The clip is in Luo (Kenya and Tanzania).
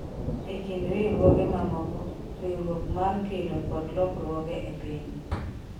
ekind riwruoge mamoko, riwruok mar gedo kod lokruoge e piny